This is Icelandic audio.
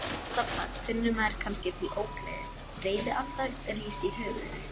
Andartak finnur maður kannski til ógleði, reiðialda rís í höfðinu